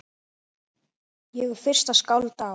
Ég er fyrsta skáld á